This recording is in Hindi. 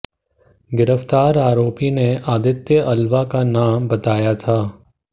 गिरफ्तार आरोपी ने आदित्य अल्वा का नाम बताया था